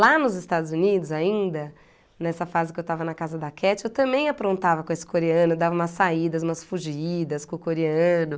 Lá nos Estados Unidos, ainda, nessa fase que eu estava na casa da Catty, eu também aprontava com esse coreano, dava umas saídas, umas fugidas com o coreano.